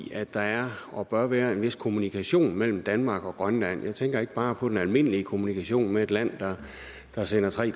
at der er og bør være en vis kommunikation mellem danmark og grønland jeg tænker ikke bare på den almindelige kommunikation med et land der sender tre